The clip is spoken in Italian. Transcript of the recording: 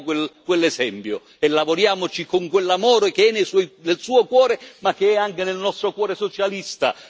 Prendiamo quell'esempio e lavoriamo con quell'amore che è nel Suo cuore ma che è anche nel nostro cuore socialista.